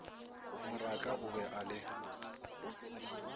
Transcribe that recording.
moraka o be a le